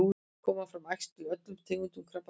koma fram æxli í öllum tegundum krabbameins